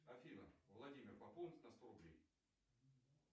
афина владимир пополнить на сто рублей